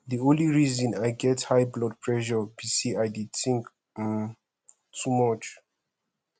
the only reason i get high blood pressure be say i dey think um too much